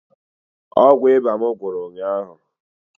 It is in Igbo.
Ọgwụ ịba m gwụrụ ụnyaahụ